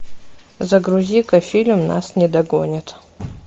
загрузи ка фильм нас не догонят